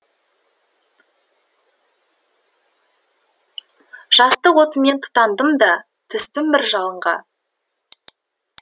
жастық отымен тұтандым да түстім бір жалынға